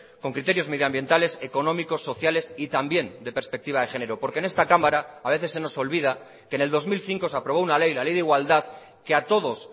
con criterios medioambientales económicos sociales y también de perspectiva de género porque en esta cámara a veces se nos olvida que en el dos mil cinco se aprobó una ley la ley de igualdad que a todos